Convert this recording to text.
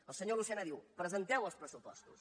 el senyor lucena diu presenteu els pressu postos